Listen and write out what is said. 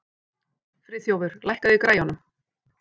Friðþjófur, lækkaðu í græjunum.